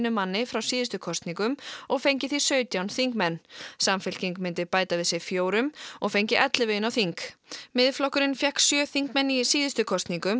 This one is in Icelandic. manni frá síðustu kosningum og fengi sautján þingmenn samfylking myndi bæta við sig fjórum og fengi ellefu inn á þing Miðflokkurinn fékk sjö þingmenn í síðustu kosningum